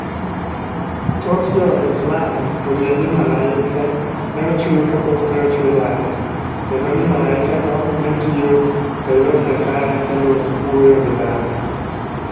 Thoth Jo-Islam oyie ni malaike ne ochwe kapok ne ochwe dhano, kendo ni malaikego ne tiyo e lo Nyasaye kendo wuoyo gi dhano.